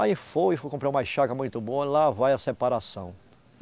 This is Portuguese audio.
Aí foi, comprei umas chácara muito boa e lá vai a separação.